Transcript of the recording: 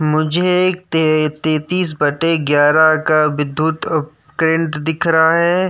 मुझे एक ते तेतिस बटे इग्यारह का विधुत उपकेंद्र दिख रहा है।